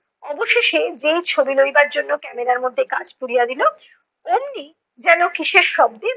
অবশেষে যেই ছবি লইবার জন্য camera র মধ্যে কাঁচ তুলিয়া দিলো, অম্নি যেনো কিসের শব্দে